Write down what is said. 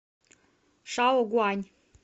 шаогуань